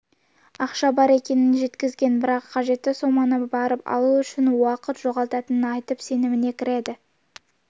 ақша бар екенін жеткізген бірақ қажетті соманы барып алу үшін уақыт жоғалтатынын айтып сеніміне кіреді